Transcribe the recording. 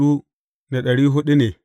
Yawan mutanen sashensa ne.